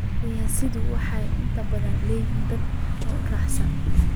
Siyasiyiintu waxay inta badan leeyihiin dad aad u raacsan.